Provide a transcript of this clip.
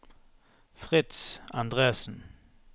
Fritz Endresen